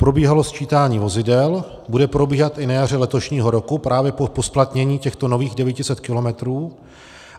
Probíhalo sčítání vozidel, bude probíhat i na jaře letošního roku právě po zpoplatnění těchto nových 900 kilometrů.